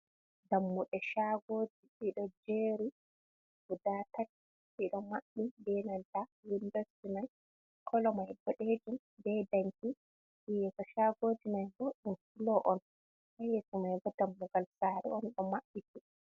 Dammude shaagoji ɗiɗo jeri guda tati ɗiɗo maɓɓi be nanta windos ji man, kolo mai boɗejum be danki yeso shagoji mai bo ɗum fulo on yeso man bo dammugal sare on ɗo mabbi ti.